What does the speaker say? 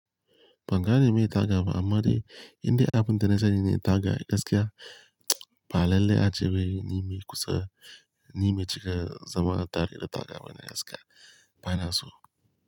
Banga ne meye taga ba amma dai indai abin da na sani ne taga gaskiya ba lalle ace wai ni me kusa ni me cika zaman tare da taga bana gaskiya bana so.